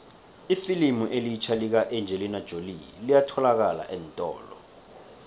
ifilimu elitjha lika engelina jolie liyatholalakala eentolo